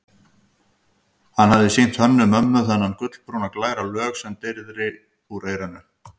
Hann hafði sýnt Hönnu-Mömmu þennan gulbrúna, glæra lög sem dreyrði úr eyranu.